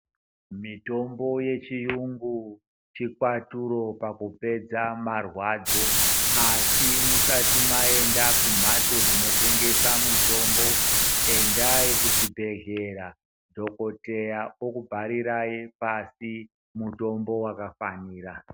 Mitombo yechiyungu chikwaturo pakupedza marwadzo. Asi musati maenda kumhatso dzinotengesa mitombo endai kuchibhedhleya, dhogodheya okubharirai pasi mutombo vakafanira.